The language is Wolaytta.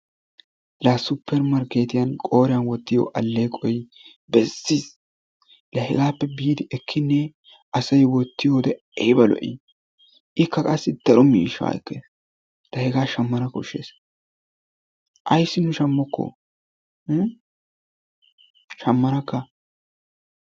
La supermarkketiyaan qooriyaan wottiyoo aleeqoy bessiis. Hegaappe biidi ekkinee asay wottiyoode ayba lo"ii! Ikka qassi dere miishshaa ekkees. La hegaa shammana koshshees. aysi nu shammooko? hii shammaanaka.